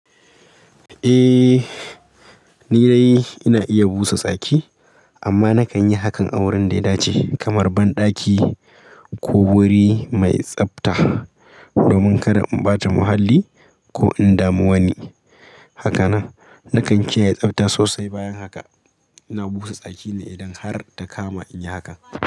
Eh, ni dai ina iya busa tsaki amma na kan yi hakan a wurin da ya dace kamar banɗaki ko wuri mai tsafta domin kada in ɓata muhalli ko in damu wani. Hakanan na kan kiyaye tsafta sosai. Bayan haka ina busa tsaki ne idan har ta kama in yi hakan.